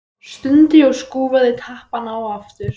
Stundi og skrúfaði tappann á aftur.